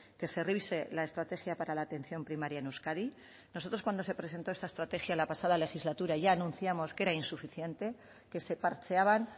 que se revise la estrategia para la atención primaria en euskadi nosotros cuando se presentó esta estrategia la pasada legislatura ya anunciamos que era insuficiente que se parcheaban